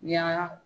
Yaala